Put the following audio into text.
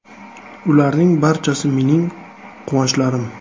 Ularning barchasi mening quvonchlarim.